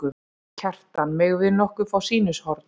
Kjartan: Megum við nokkuð fá sýnishorn?